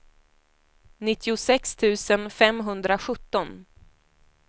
nittiosex tusen femhundrasjutton